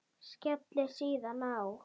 Skellir síðan á.